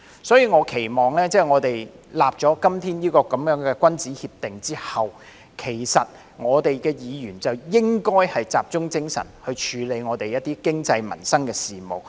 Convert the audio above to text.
所以，我期望在今天訂立這樣的君子協定後，議員便應集中精神處理香港的經濟和民生事務。